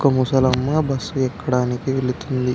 ఇక్కడ మనకు కార్ అనేది రిపేర్ చేస్తు ఉంటారు.